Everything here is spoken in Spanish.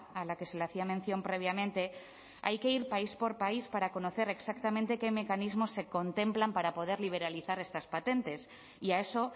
a la que se le hacía mención previamente hay que ir país por país para conocer exactamente qué mecanismos se contemplan para poder liberalizar estas patentes y a eso